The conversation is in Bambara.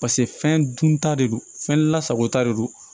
pase fɛn dun ta de don fɛn lasagota de don